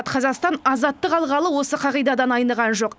қазақстан азаттық алғалы осы қағидадан айныған жоқ